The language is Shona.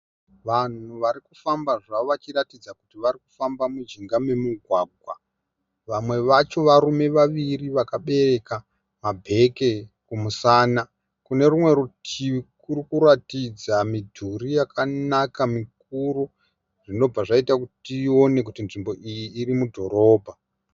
Vanhu vari kufamba zvavo vachiratidza kuti vari kufamba mujinga memugwagwa. Vamwe vacho varume vaviri vakabereka mabheke kumusana. Kuno rumwe rutivi kuri kuratidza midhuri yakanaka mikuru zvinobva zvaita kuti tione kuti nzvimbo iyi iri mudhorobha.